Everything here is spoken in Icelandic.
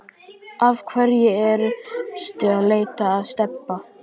Af hverju ertu að leita að Stebba